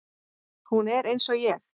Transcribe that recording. Hún er eins og ég.